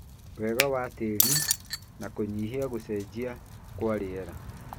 wega wa tĩĩri na kũnyihia gũcenjia kwa rĩera.